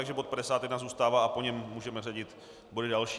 Takže bod 51 zůstává a po něm můžeme řadit body další.